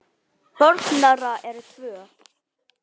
Börn þeirra eru tvö.